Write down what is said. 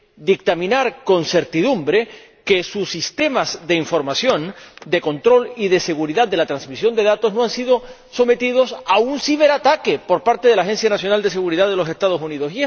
dictaminar con certidumbre que sus sistemas de información, de control y de seguridad de la transmisión de datos no han sido sometidos a un ciberataque por parte de la Agencia Nacional de Seguridad de los Estados Unidos.